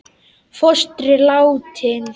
Fóstri látinn.